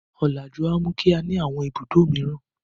Ọ̀làjú máa mú kí á ní àwọn ibùdó mìíràn.